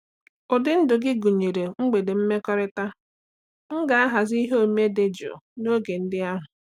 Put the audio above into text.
Ụdị ndụ gị gụnyere mgbede mmekọrịta; m ga-ahazi ihe omume dị jụụ n'oge ndị ahụ.